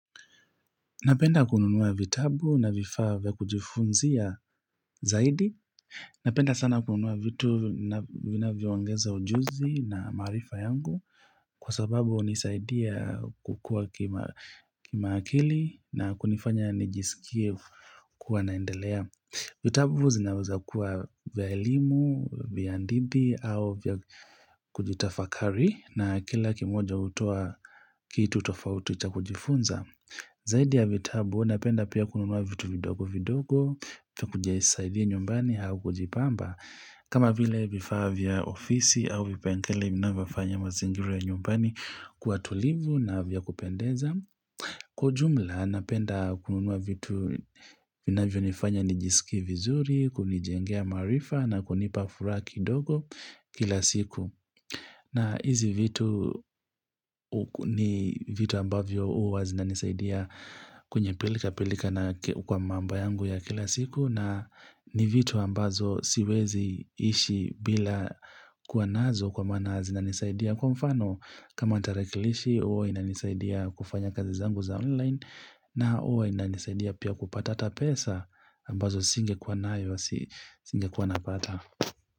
Napenda kununua vitabu na vifaa vya kujifunzia zaidi. Napenda sana kununua vitu vina viongeza ujuzi na marifa yangu kwa sababu unisaidia kukua kima akili na kunifanya nijisikie kuwa naendelea. Vitabu zinaweza kuwa vya elimu, vya ndidi au vya kujitafakari na kila kimoja utoa kitu tofauti cha kujifunza. Zaidi ya vitabu, napenda pia kununua vitu vidogo vidogo, kukujia isaidia nyumbani hau kujipamba. Kama vile vifaa vya ofisi au vipengele minavafanya mazingira nyumbani kua tulivu na vya kupendeza. Kwa ujumla, napenda kununua vitu vinavyo nifanya nijisikie vizuri, kunijengea marifa na kunipafuraha kidogo kila siku. Na hizi vitu. Ni vitu ambavyo uwa zinanisaidia kwenye pilika-pilika kwa mambo yangu ya kila siku na ni vitu ambazo siwezi ishi bila kuwanazo kwa mana zinanisaidia kwa mfano kama tarakilishi uwa inanisaidia kufanya kazizangu za online. Na uwa inanisaidia pia kupata ata pesa ambazo singe kua nayo wa singe kua napata.